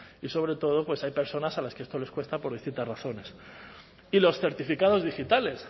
y sobre todo pues hay personas a las que esto les cuesta por distintas razones y los certificados digitales